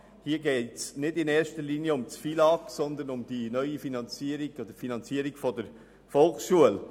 Hier geht es nicht in erster Linie um den FILAG, sondern um die Finanzierung der Volksschule.